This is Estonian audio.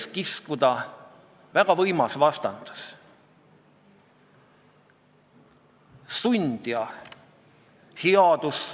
Ta kinnitas ka, et tema seisukohalt ei oleks väga vahet, kas sunniraha ülemmäär oleks 9600 või 6400 eurot, aga ta eelistaks, et sellesisuline paragrahv jääks keeleseadusesse.